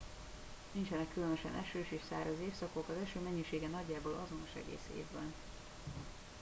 nincsenek különösen esős és száraz évszakok az eső mennyisége nagyjából azonos egész évben